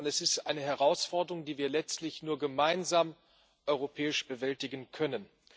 Es ist eine Herausforderung, die wir letztlich nur gemeinsam europäisch bewältigen können.